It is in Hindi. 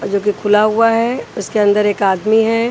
जोकि खुला हुआ हे उसके अन्दर एक आदमी हैं।